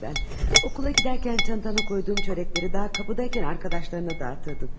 Məktəbə gedəndə çantana qoyduğum kökələri hələ qapıda ikən yoldaşlarına paylatdın.